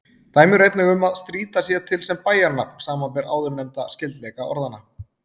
Dæmi eru einnig um að Strýta sé til sem bæjarnafn, samanber áðurnefndan skyldleika orðanna.